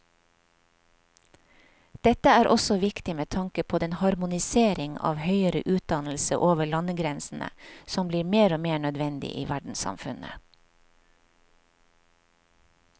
Dette er også viktig med tanke på den harmonisering av høyere utdannelse over landegrensene som blir mer og mer nødvendig i verdenssamfunnet.